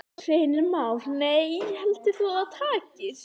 Heimir Már: Nei, heldur þú að það takist?